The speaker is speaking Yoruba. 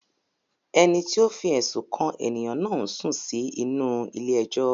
Ẹni tí ó fi ẹ̀sùn kàn ènìyàn náà ń sùn sí inú-u ilé ẹjọ́